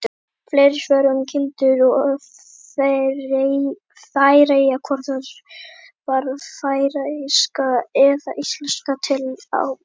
Fleiri svör um kindur og Færeyjar: Hvort varð færeyska eða íslenska til á undan?